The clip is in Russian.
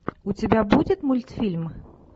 у тебя будет мультфильм